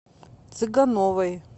цыгановой